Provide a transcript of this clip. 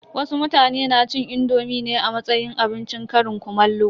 Wasu mutane na cin indomi ne a matsayin abincin ƙarin kumallo.